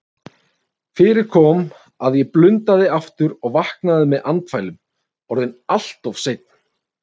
Fyrir kom að ég blundaði aftur og vaknaði með andfælum, orðinn alltof seinn.